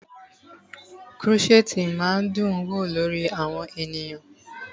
Krọ́ṣẹ̀tì máa ń dún wò lórí àwọn ènìyàn.